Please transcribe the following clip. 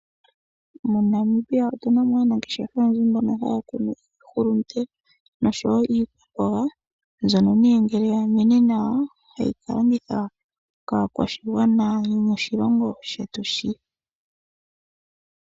MoNamibia otuna aanangeshefa oyendji mboka hakunu iihulunde noshowo iikwamboga mbyono ngele yamene nawa tayi kalongithwa wo kaakwashigwana yomoshilongo shetu shi